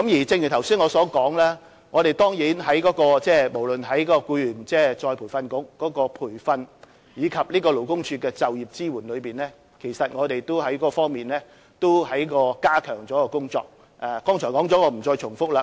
正如我剛才所說，無論僱員再培訓局的培訓或勞工處的就業支援服務，我們其實在各方面也加強了工作，剛才已有提及，我不再重複。